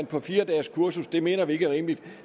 på fire dages kursus det mener vi ikke er rimeligt